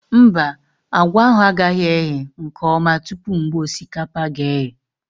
Mba, àgwà ahụ agaghị eghe nke ọma tupu mgbe osikapa ga eghe